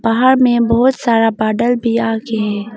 बाहर में बहुत सारा बादर भी आ के है।